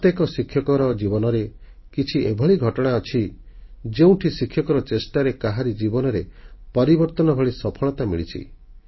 ପ୍ରତ୍ୟେକ ଶିକ୍ଷକର ଜୀବନରେ କିଛି ଏଭଳି ଘଟଣା ଅଛି ଯେଉଁଠି ଶିକ୍ଷକର ଚେଷ୍ଟାରେ କାହାରି ଜୀବନରେ ପରିବର୍ତ୍ତନ ଭଳି ସଫଳତା ମିଳିଛି